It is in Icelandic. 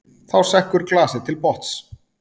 Þá sekkur glasið til botns.